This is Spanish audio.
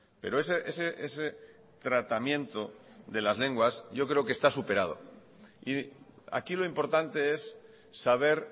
pero ese tratamiento de las lenguas yo creo que está superado y aquí lo importante es saber